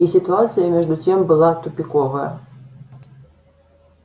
и ситуация между тем была тупиковая